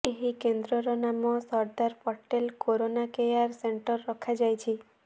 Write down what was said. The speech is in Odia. ଏହି କେନ୍ଦ୍ରର ନାମ Sardar Patel corona care centre ରଖାଯାଇଛି